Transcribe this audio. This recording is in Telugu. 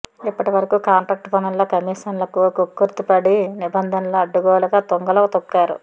ఇప్పటి వరకు కాంట్రాక్టు పనుల్లో కమీషన్లకు కక్కుర్తి పడి నిబంధనలు అడ్డగోలుగా తుంగలో తొక్కారు